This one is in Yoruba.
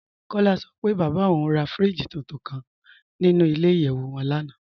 Kọ́lá sọ pé bábá ọ̀un rà fíríjì túntún kàn nínú ilẹ̀-ìyẹ̀wù wọn lánà.